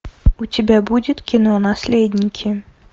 у тебя будет кино наследники